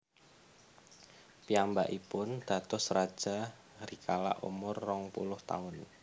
Piyambakipun dados raja rikala umur rong puluh taun